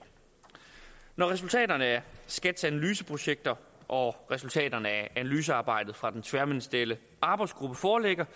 når resultaterne af skats analyseprojekter og resultaterne af analysearbejdet fra den tværministerielle arbejdsgruppe foreligger